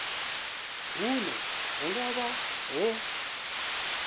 hune hu nga vha ho